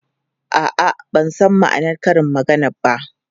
A'a, ban san ma'anar karin maganar ba.